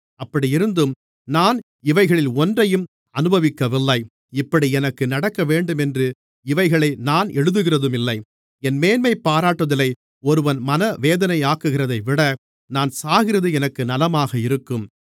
அப்படியிருந்தும் நான் இவைகளில் ஒன்றையும் அனுபவிக்கவில்லை இப்படி எனக்கு நடக்கவேண்டுமென்று இவைகளை நான் எழுதுகிறதுமில்லை என் மேன்மைபாராட்டுதலை ஒருவன் மனவேதனையாக்குகிறதைவிட நான் சாகிறது எனக்கு நலமாக இருக்கும்